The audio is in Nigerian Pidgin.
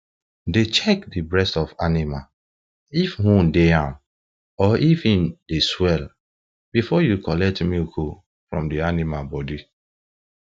dey check de breast of animal if wound de am or if em dey swell before you collect milk um from the animal body